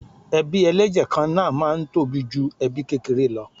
Ebí ẹlẹ́jẹ̀ kan náà máa ń tóbi ju ẹbí kékeré lọ.